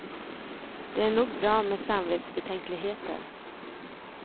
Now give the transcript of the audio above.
Det är nog bra med samvetsbetänkligheter.